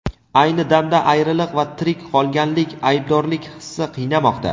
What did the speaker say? ayni damda ayriliq va tirik qolganlik aybdorlik hissi qiynamoqda.